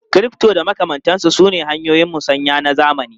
Crypto da makamantansu sune hanyoyin musanya na zamani.